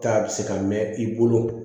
Taa bi se ka mɛn i bolo